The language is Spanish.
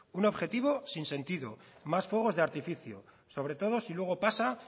un objetivo sin sentido más fuegos de artificio sobre todo si luego pasa